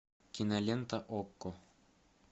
кинолента окко